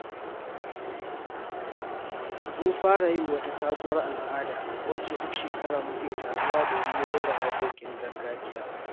Mun fara yin wata sabuwar al’ada wacce duk shekara muke taruwa domin rera waƙoƙin gargajiya.